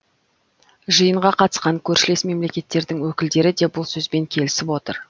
жиынға қатысқан көршілес мемлекеттердің өкілдері де бұл сөзбен келісіп отыр